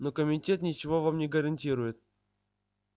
но комитет ничего вам не гарантирует